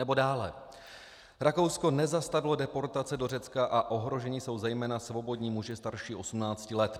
Nebo dále: Rakousko nezastavilo deportace do Řecka a ohroženi jsou zejména svobodní muži starší 18 let.